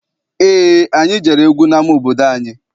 Eé, anyị jere egwu n'ama obodo anyị.